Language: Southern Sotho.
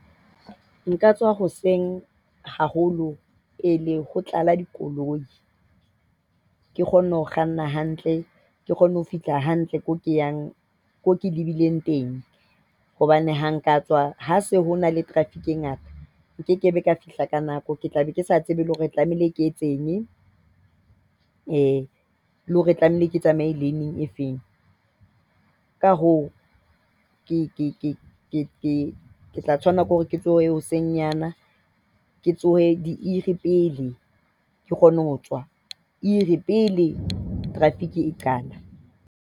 Nka tsoha hoseng haholo pele ho tlala dikoloi. Ke kgone ho kganna hantle. Ke kgone ho fihla hantle ko ke yang ko ke lebileng teng hobane ha nka tswa ha se ho na le traffic e ngata nke kebe ka fihla ka nako. Ke tla be ke sa tsebe le hore tlamehile ke etse eng le hore tlamehile ke tsamaye lane-ng e fe. Ka ho ke ke tla tshwanela ke hore ke tsohe hoseng yana, ke tshohe diiri pele, ke kgone ho tswa iri pele traffic e qala.